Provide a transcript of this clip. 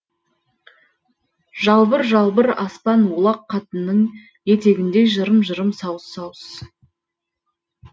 жалбыр жалбыр аспан олақ қатынның етегіндей жырым жырым сауыс сауыс